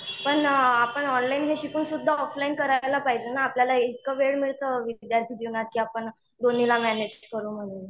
पण आपन ऑनलाइनला शिकून सुद्धा ऑफलाईन करायला पाहिजे ना आपल्याला एक वेळ मिळतं विद्यार्थी जीवनात की आपण दोन्हीला मॅनेज करून